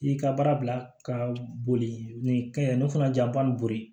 I y'i ka baara bila ka boli nin kɛ ne fana janfa nin boli